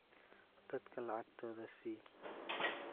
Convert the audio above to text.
Dadka lacagtooda sii.